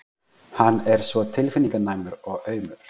Hann er svo tilfinninganæmur og aumur.